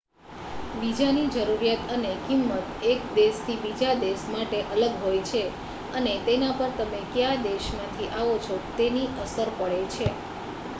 visa ની જરૂરિયાત અને કિંમત એક દેશ થી બીજા દેશ માટે અલગ હોય છે અને તેના પર તમે કયા દેશ માંથી આવો છો તેની અસર પડે છે